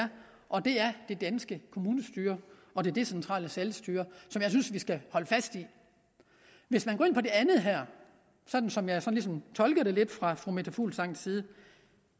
og det er det danske kommunestyre og det decentrale selvstyre som jeg synes vi skal holde fast i hvis man går ind på det andet her sådan som jeg ligesom tolker det lidt fra fru meta fuglsangs side